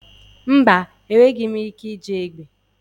Mba, enweghị m ike iji egbe.